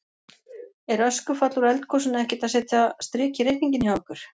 Er öskufall úr eldgosinu ekkert að setja strik í reikninginn hjá ykkur?